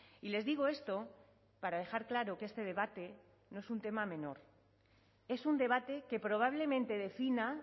y les digo esto para dejar claro que este debate no es un tema menor es un debate que probablemente defina